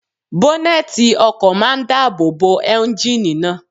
Bọ́nẹ̀tì ọkọ̀ máa n dáàbò bo éúnjínì náà